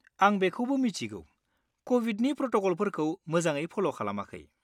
आं बेखौबो मिथिगौ कविडनि प्रट'क'लफोरखौ मोजाङै फल' खालामाखै।